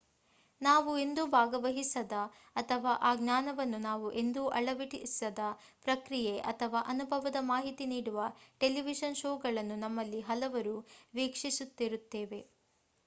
ನಾವು ಎಂದೂ ಭಾಗವಹಿಸದ ಅಥವಾ ಆ ಜ್ಞಾನವನ್ನು ನಾವು ಎಂದೂ ಅಳವಡಿಸದ ಪ್ರಕ್ರಿಯೆ ಅಥವಾ ಅನುಭವದ ಮಾಹಿತಿ ನೀಡುವ ಟೆಲಿವಿಷನ್ ಶೋಗಳನ್ನು ನಮ್ಮಲ್ಲಿ ಹಲವರು ವೀಕ್ಷಿಸುತ್ತಿರುತ್ತೇವೆ